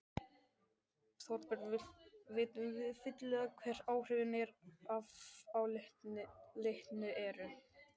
Þorbjörn, vitum við fyllilega hver áhrifin af álitinu eru?